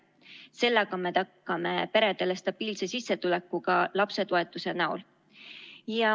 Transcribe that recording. Sellega me tagame peredele stabiilse sissetuleku ka lapsetoetuse näol.